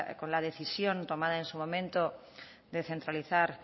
con la decisión tomada en su momento de centralizar